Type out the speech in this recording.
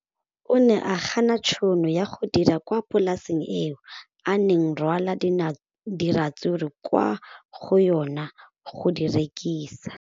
O ne a gana tšhono ya go dira kwa polaseng eo a neng rwala diratsuru kwa go yona go di rekisa.